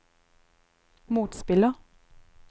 motspiller